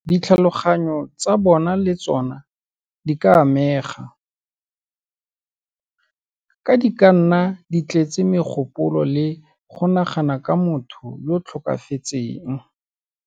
Ditlhaloganyo tsa bona le tsona di ka amega, ka di ka nna di tletse megopolo le go nagana ka motho yo o tlhokafetseng.